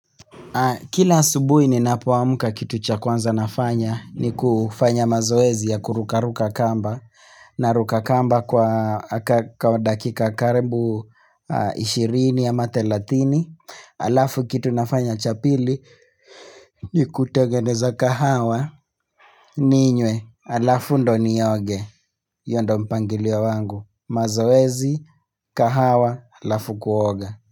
Kila asubuhi ninapoamka kitu cha kwanza nafanya ni kufanya mazoezi ya kurukaruka kamba na ruka kamba kwa dakika karibu ishirini ama thelathini Alafu kitu nafanya cha pili ni kutengeneza kahawa ninywe alafu ndio nioge hio ndio mpangilio wangu mazoezi kahawa alafu kuoga.